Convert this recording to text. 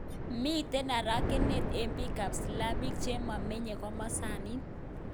Miten aragenet en pik ap slamiek chemenye komosani